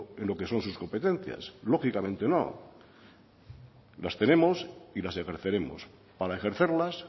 en lo que son sus competencias lógicamente no las tenemos y las ejerceremos para ejercerlas